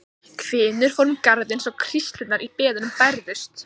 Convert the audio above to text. Hvinur fór um garðinn svo hríslurnar í beðunum bærðust.